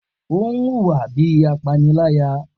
O n huwa bi apanilaya